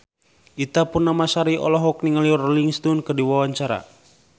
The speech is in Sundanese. Ita Purnamasari olohok ningali Rolling Stone keur diwawancara